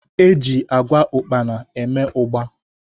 Locus bean seed is used to make ugba